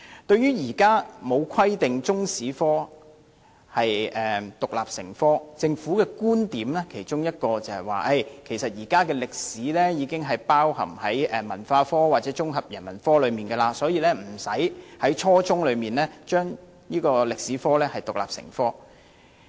對於現時沒有規定中史獨立成科，政府其中一個觀點是，現在的中史課程已經包含在文化科或綜合人文科內，所以無須在初中時期規定中史獨立成科。